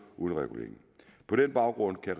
uden regulering på den baggrund kan